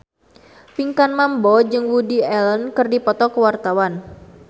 Pinkan Mambo jeung Woody Allen keur dipoto ku wartawan